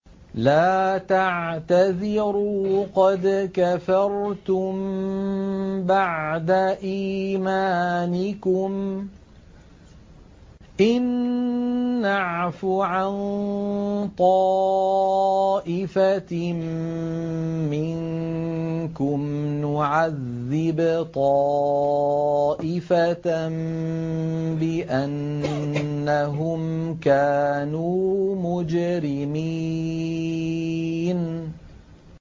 لَا تَعْتَذِرُوا قَدْ كَفَرْتُم بَعْدَ إِيمَانِكُمْ ۚ إِن نَّعْفُ عَن طَائِفَةٍ مِّنكُمْ نُعَذِّبْ طَائِفَةً بِأَنَّهُمْ كَانُوا مُجْرِمِينَ